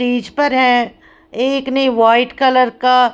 stage पर एक ने व्हाइट कलर का--